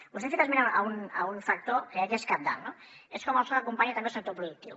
vostè ha fet esment d’un factor que crec que és cabdal no és com el soc acompanya també el sector productiu